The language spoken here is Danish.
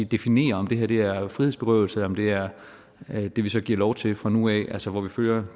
definerer om det her er frihedsberøvelse og om det er det vi så giver lov til fra nu af altså hvor vi følger